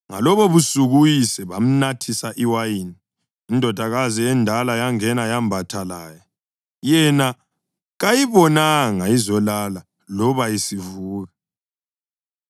Ngalobobusuku uyise bamnathisa iwayini, indodakazi endala yangena yembatha laye. Yena kayibonanga izolala loba isivuka.